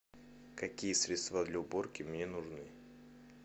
какие средства для уборки мне нужны